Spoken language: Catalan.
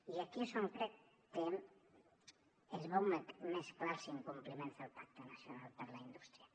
i aquí és on crec que es veuen més clars els incompliments del pacte nacional per a la indústria